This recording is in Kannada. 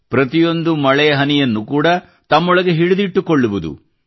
ಪ್ರತಿಯೊಂದು ಮಳೆ ಹನಿಯನ್ನು ಕೂಡ ತಮ್ಮೊಳಗೆ ಹಿಡಿದಿಟ್ಟುಕೊಳ್ಳುವುದು